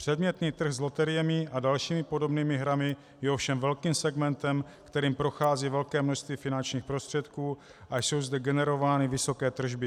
Předmětný trh s loteriemi a dalšími podobnými hrami je ovšem velkým segmentem, kterým prochází velké množství finančních prostředků a jsou zde generovány vysoké tržby.